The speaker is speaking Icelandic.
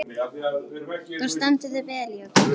Þú stendur þig vel, Jökull!